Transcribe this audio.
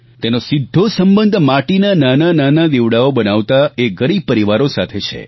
તેનો સીધો સંબંધ માટીના નાનાનાના દિવડાઓ બનાવતા એ ગરીબ પરિવારો સાથે છે